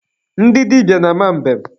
Ndị dịbịa na-ama mbem.